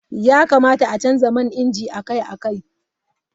Ya kamata a canza man inji akai-akai.